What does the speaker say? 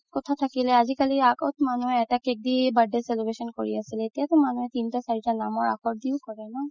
কথা থাকিলে আজিকালি, আগত মানুহে এটা cake দি birthday celebration কৰি আছিলে এতিয়াতো মানুহে তিনতা চাৰিতা মানুহে নামৰ আশৰ দিও কৰে ন